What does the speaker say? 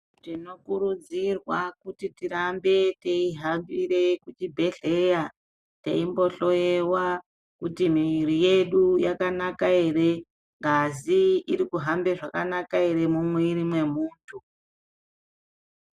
Tinokurudzirwa kuti tirambe teihambire kuchibhehleya teimbohlowewa kuti mwiri yedu yakanaka ere, ngazi irikuhambe zvakanaka ere mumwiri mwemuntu.